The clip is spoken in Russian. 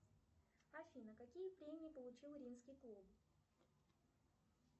афина какие премии получил римский клуб